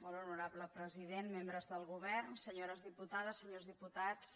molt honorable president membres del govern senyores diputades senyors diputats